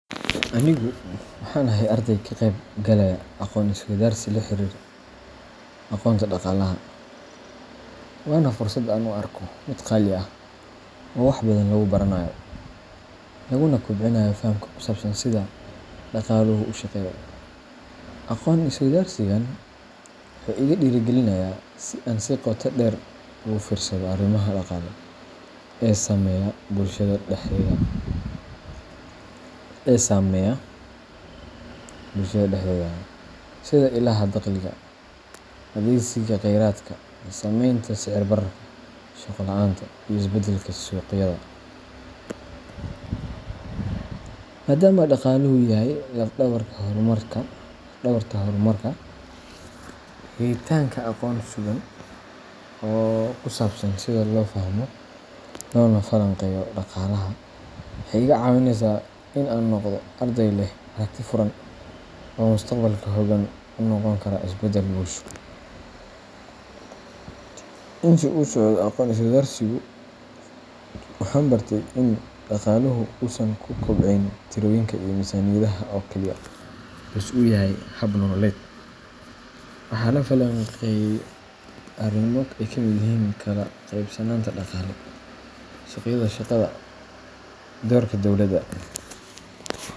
Anigu waxaan ahay arday ka qeyb galaya aqoon-is-weydaarsi la xiriira aqoonta dhaqaalaha, waana fursad aan u arko mid qaali ah oo wax badan lagu baranayo, laguna kobcinayo fahamka ku saabsan sida dhaqaaluhu u shaqeeyo. Aqoon-is-weydaarsigan wuxuu igu dhiirrigelinayaa in aan si qoto dheer ugu fiirsado arrimaha dhaqaale ee saameeya bulshada dhexdeeda, sida ilaha dakhliga, adeegsiga kheyraadka, saamaynta sicir-bararka, shaqo la’aanta, iyo isbeddelka suuqyada. Maadaama dhaqaaluhu yahay laf-dhabarta horumarka, helitaanka aqoon sugan oo ku saabsan sida loo fahmo loona falanqeeyo dhaqaalaha waxay iga caawinaysaa in aan noqdo arday leh aragti furan oo mustaqbalka hoggaan u noqon kara isbeddel bulsho. Intii uu socdo aqoon-is-weydaarsigu, waxaan bartay in dhaqaaluhu uusan ku koobnayn tirooyinka iyo miisaaniyadaha oo keliya, balse uu yahay hab nololeed. Waxaa la falanqeeyay arrimo ay ka mid yihiin kala qaybsanaanta dhaqaale, suuqyada shaqada, doorka dawladda